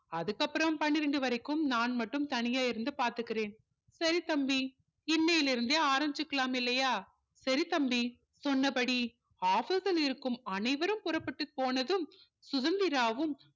அதுக்கப்புறம் பன்னிரண்டு வரைக்கும் நான் மட்டும் தனியா இருந்து பாத்துக்கிறேன் சரி தம்பி இன்னையில இருந்தே ஆரம்பிச்சிக்கலாம் இல்லையா சரி தம்பி சொன்னபடி office ல இருக்கும் அனைவரும் புறப்பட்டு போனதும் சுதந்திராவும்